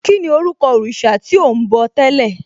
Kíni orúkọ òrìṣà tí ò ń bọ̀ tẹ́lẹ̀?